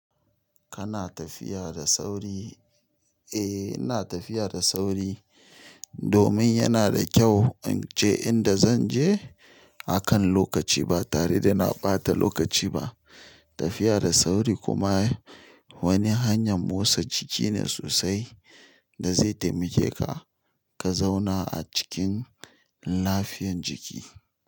Kana tafiya da sauri? Eh ina tafiya da sauri. Domin yana da kyau in je inda zan je, a kan lokaci ba tare da na ɓata lokaci ba. Tafiya da sauri kuma wani hanyar motsa jiki ne sosai bansan inda muke ba, ka zauna acikin nepe ciki.